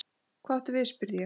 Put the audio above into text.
Hvað áttu við spurði ég.